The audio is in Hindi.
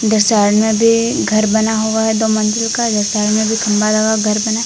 इधर साइड में भी घर बना हुआ है दो मंजिल का। ये साइड में भी खंभा लगा घर बना है।